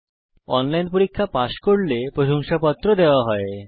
যারা অনলাইন পরীক্ষা পাস করে তাদের প্রশংসাপত্র দেওয়া হয়